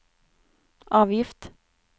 avgift